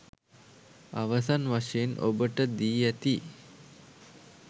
අවසන් වශයෙන් ඔබට දී ඇති